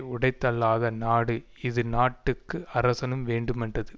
உடைத்தல்லாத நாடு இதுநாட்டுக்கு அரசனும் வேண்டுமென்றது